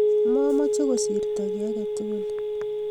Mamoche kosirto kiy age tugul.